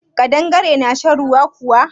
Ƙadangare na shan ruwa kuwa?